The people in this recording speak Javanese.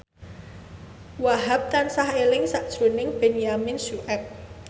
Wahhab tansah eling sakjroning Benyamin Sueb